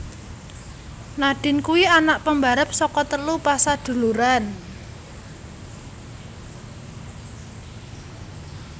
Nadine kuwi anak pembarep saka telu pasaduluran